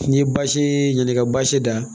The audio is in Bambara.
N'i ye basi ɲin'i ka basi da